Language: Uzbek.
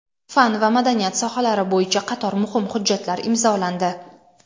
fan va madaniyat sohalari bo‘yicha qator muhim hujjatlar imzolandi.